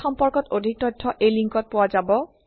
এই সম্পৰ্কত অধিক তথ্য এই লিংকত পোৱা যাব